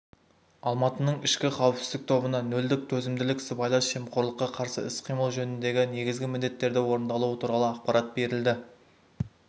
алматының ішкі қауіпсіздік тобына нөлдік төзімділік сыбайлас жемқорлыққа қарсы іс-қимыл жөніндегі негізгі міндеттердің орындалуы туралы ақпарат берілді